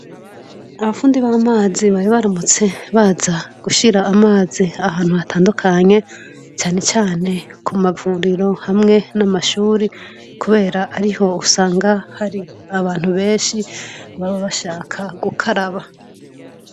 Abafundi b'amazi bari baramutse baza gushira amazi ahantu hatandukanye canecane kumavuriro hamwe n'amashure kubera ariho usanga har'ahantu benshi baba bashaka gukaraba.